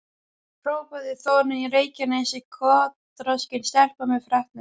hrópaði Þórunn í Reykjanesi, kotroskin stelpa með freknur.